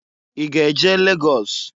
I ga-eje Lagọs?